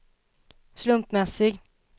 slumpmässig